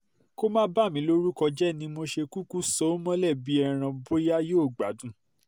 kó má bà mí lórúkọ jẹ́ ni mo ṣe kúkú so ó mọ́lẹ̀ bíi ẹran bóyá yóò gbádùn